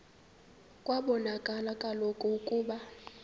kwabonakala kaloku ukuba